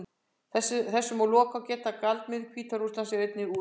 Þess má að lokum geta að gjaldmiðill Hvíta-Rússlands er einnig rúbla.